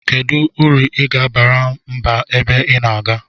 Kedu uru iga abara mba ebe ina aga?